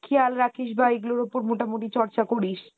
খেয়াল রাখিস বা এইগুলার উপর মোটামুটি চর্চা করিস।